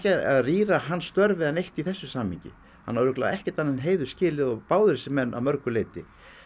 að rýra hans störf eða neitt í þessu samhengi hann á örugglega ekkert annað en heiður skilið og báðir þessir menn að mörgu leyti